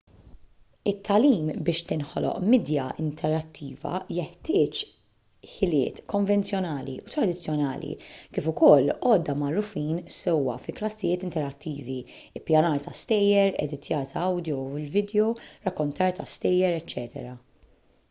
it-tagħlim biex tinħoloq midja interattiva jeħtieġ ħiliet konvenzjonali u tradizzjonali kif ukoll għodda magħrufin sewwa fi klassijiet interattivi ippjanar ta’ stejjer editjar tal-awdjo u l-vidjow rakkontar ta’ stejjer eċċ.